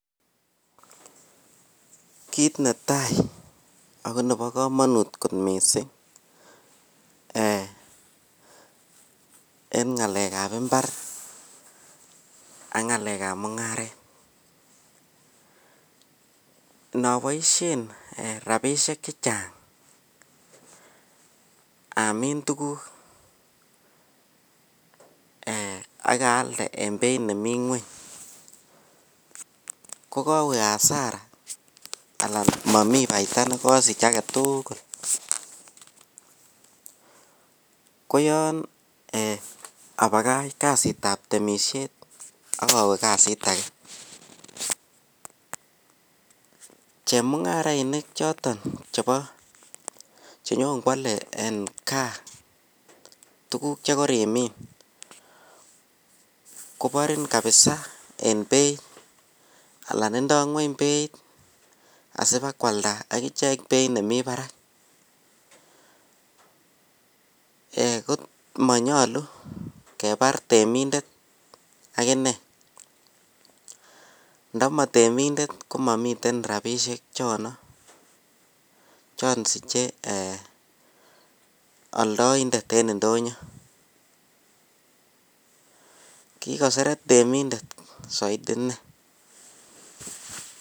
Kit ne tai ago nebo kamanut kot mising ee eng ngalekab imbar ak ngalekab mungaret. Inoboisien rapinik che chang amin tuguk ak aalde en beit nemi ngwony kokawe asara anan mami faida nekosich age tugul. Koyoon abakach kasitab temisiet ak awe kasit age. Chemungarainik choton chebo chenyonkwale en kaa tuguk che korimin koborin kapisa. Indo ngweny beit asibakwalda akichek beit nemi barak. Komanyalu kebar temindet ak inne. Ndamatemindet ko mamiten rapisiek chono, chon siche ee aldoindet en indonyo. Kikoseret temindet saiti innei